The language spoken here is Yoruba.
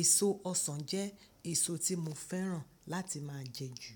èso ọsàn jẹ́ èso tí mo fẹ́ràn láti máa jẹ jù.